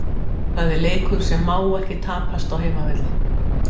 Hafnarhúsinu